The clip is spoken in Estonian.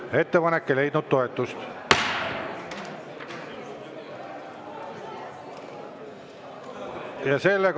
Ettepanek ei leidnud toetust.